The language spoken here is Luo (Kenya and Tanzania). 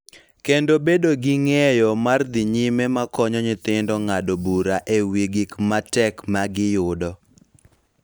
Kendo bedo gi ng�eyo mar dhi nyime ma konyo nyithindo ng�ado bura e wi gik ma tek ma giyudo.